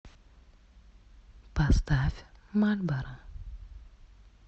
поставь мальборо